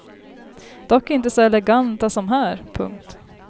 Dock inte så eleganta som här. punkt